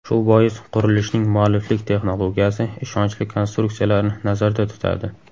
Shu bois qurilishning mualliflik texnologiyasi ishonchli konstruksiyalarni nazarda tutadi.